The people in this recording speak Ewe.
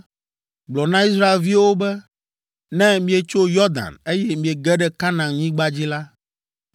“Gblɔ na Israelviwo be, ‘Ne mietso Yɔdan, eye miege ɖe Kanaanyigba dzi la,